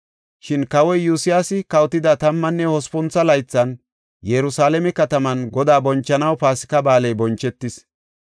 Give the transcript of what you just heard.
Shin Kawoy Iyosyaasi kawotida tammanne hospuntho laythan Yerusalaame kataman Godaa bonchanaw Paasika Ba7aaley bonchetis.